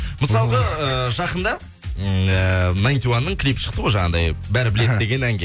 мысалғы эээ жақында ммм э наитиюаның клипы шықты ғой жаңадай бәрі біледі деген әнге